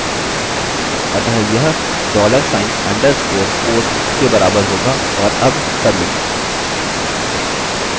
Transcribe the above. अतः यह dollar sign underscore post के बराबर होगा और अब submit